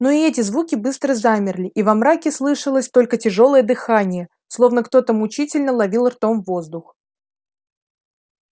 но и эти звуки быстро замерли и во мраке слышалось только тяжёлое дыхание словно кто-то мучительно ловил ртом воздух